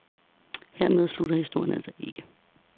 Hermed slutter historien altså ikke.